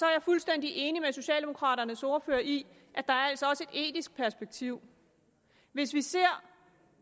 jeg fuldstændig enig med socialdemokraternes ordfører i at der altså også er etisk perspektiv hvis vi ser